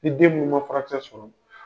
Ni den minnu man furakisɛ sɔrɔ dun.